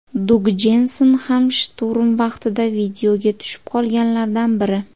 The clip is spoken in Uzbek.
Dug Jensen ham shturm vaqtida videoga tushib qolganlardan biri.